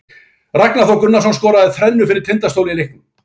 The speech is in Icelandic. Ragnar Þór Gunnarsson skoraði þrennu fyrir Tindastól í leiknum.